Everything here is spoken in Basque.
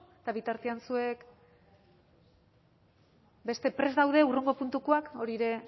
eta bitartean zuek beste prest daude hurrengo puntukoak hori ere